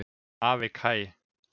Afi Kaj.